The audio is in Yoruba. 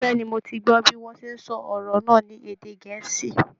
Bẹ́ẹ̀ ni, mo ti gbọ́ bí wọ́n ṣe sọ ọ̀rọ̀ náà ní èdè gẹ̀ẹ́sì